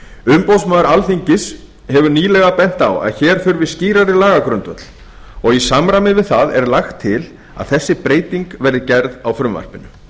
umboðsmaður alþingis hefur nýlega bent á að hér þurfi skýrari lagagrundvöll og er í samræmi við það lagt til að þessi breyting verði gerð á frumvarpinu